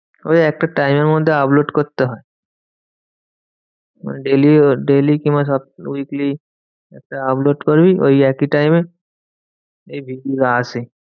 ওই একটা time এর মধ্যে upload করতে হয়। মানে daily daily কিংবা weekly upload করবি ওই একই time এ আসে।